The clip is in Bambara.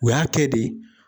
U y'a kɛ de.